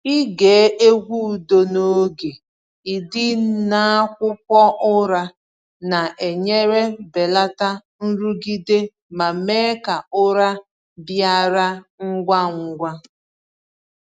Ịge egwu udo n’oge ị dị n’akwụkwọ ụra na-enyere belata nrụgide ma mee ka ụra bịara ngwa ngwa.